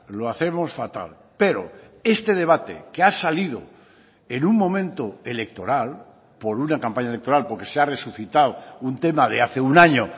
lo hacemos fatal pero este debate que ha salido en un momento electoral por una campaña electoral porque se ha resucitado un tema de hace un año